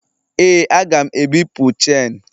Ee, a ga m ebipụ chenu.